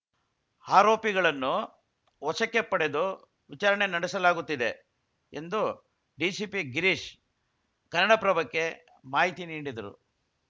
ಆರೋಪಿಗಳನ್ನು ವಶಕ್ಕೆ ಪಡೆದು ವಿಚಾರಣೆ ನಡೆಸಲಾಗುತ್ತಿದೆ ಎಂದು ಡಿಸಿಪಿ ಗಿರೀಶ್‌ ಕನ್ನಡಪ್ರಭಕ್ಕೆ ಮಾಹಿತಿ ನೀಡಿದರು